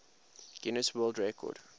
guinness world record